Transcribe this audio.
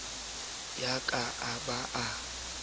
ya ka a ba a